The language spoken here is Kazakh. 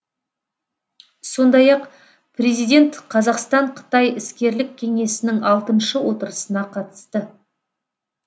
сондай ақ президент қазақстан қытай іскерлік кеңесінің алтыншы отырысына қатысты